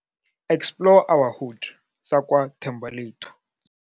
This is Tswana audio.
Explore our Hood, sa kwa Thembalethu.